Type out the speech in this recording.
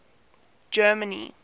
germany